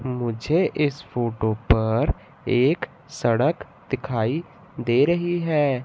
मुझे इस फोटो पर एक सड़क दिखाई दे रही है।